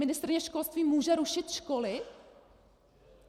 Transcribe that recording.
Ministryně školství může rušit školy?